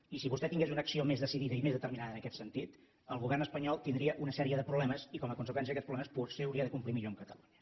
i si vostè tingués una acció més decidida i més determinada en aquest sentit el govern espanyol tindria una sèrie de problemes i com a conseqüència d’aquests problemes potser hauria de complir millor amb catalunya